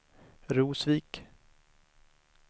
Rosvik